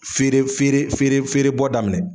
Fere fere fere fere bɔ daminɛ